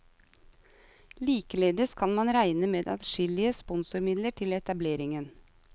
Likeledes kan man regne med adskillige sponsormidler til etableringen.